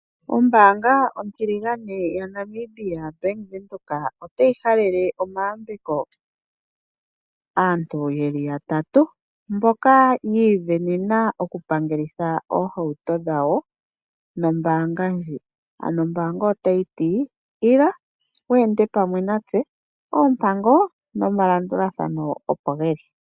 Ombaanga otiligane yaNamibia obank Windhoek otayi halele omayambeko kaantu yeli yatatu mboka yiisindanena oku pangelitha oohauto dhawo nombaanga ndji, ano ombaanga otayi ti ila weende pamwe natse oompango nomalandulathano opo geli.